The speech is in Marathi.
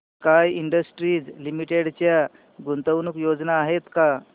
स्काय इंडस्ट्रीज लिमिटेड च्या गुंतवणूक योजना आहेत का